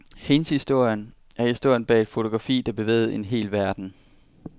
Hendes historie er historien bag et fotografi, der bevægede en hel verden.